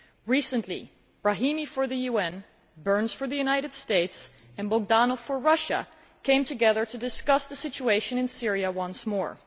Recently, Brahimi for the UN, Burns for the United States and Bogdanov for Russia came together to discuss the situation in Syria once more.